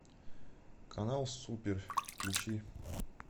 канал супер включи